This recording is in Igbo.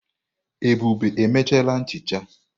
Ebube emechala nchicha.